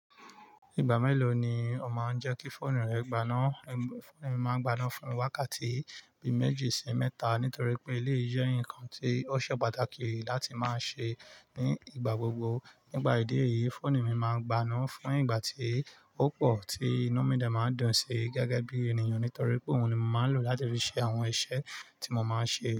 Ìgbà mélòó ni o máa ń jẹ́ kí fóònù rẹ gbaná? Fóònù mi máa ń gbaná fún mi wákàtí bi méjì sí mẹ́ta nítorí pé eléyí jẹ́ nǹkan tí ó ṣe pàtàkì láti máa ṣe ní ìgbà gbogbo. Nípa ìdí èyí, fóònù mi máa ń gb'aná fún ìgbà tí ó pọ̀ tí inú mi dẹ máa ń dùn si gẹgẹ bí ènìyàn nítorí pé òun ni mo máa ń lò láti fi ṣe àwọn iṣẹ́ tí mo máa ń ṣe.